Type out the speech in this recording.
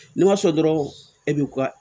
N'u ma sɔn dɔrɔn e bɛ ka